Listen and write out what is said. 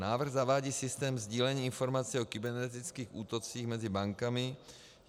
Návrh zavádí systém sdílení informací o kybernetických útocích mezi bankami.